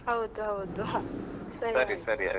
ಹೌದು ಹೌದು ಸರಿ ಸರಿ.